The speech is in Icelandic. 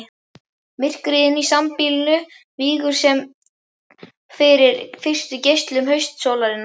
Myrkrið inni á sambýlinu víkur senn fyrir fyrstu geislum haustsólarinnar.